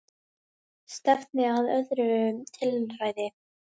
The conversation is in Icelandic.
Stefndi að öðru tilræði